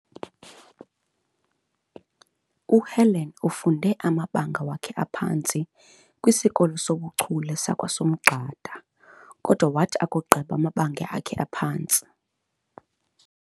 UHelen ufunde amabanga wakhe aphantsi kwisikolo soBuchule sakwaSomgxada kodwa wathi akugqiba amabanga wakhe aphantsi